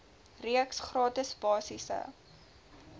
reeks gratis basiese